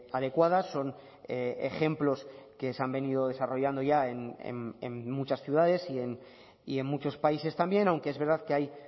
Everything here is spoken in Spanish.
adecuadas son ejemplos que se han venido desarrollando ya en muchas ciudades y en muchos países también aunque es verdad que hay